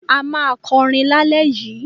A máa kọrin lálẹ́ yìí.